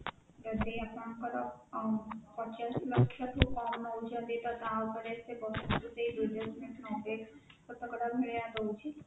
ଯଦି ଆପଣଙ୍କର ଅଁ ପଚାଶ ଲକ୍ଷ ରୁ କମ ନଉଛନ୍ତି ତ ତା ଉପରେ ଶତକଡା ଭଳିଆ ଦଉଚି